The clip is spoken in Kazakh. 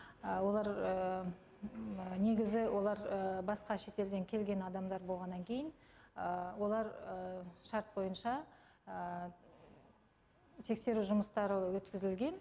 олар негізі олар басқа шетелден келген адамдар болғаннан кейін олар шарт бойынша тексеру жұмыстары өткізілген